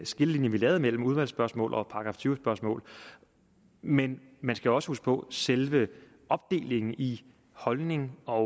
skillelinje vi lavede mellem udvalgsspørgsmål og § tyve spørgsmål men man skal også huske på at selve opdelingen i holdning og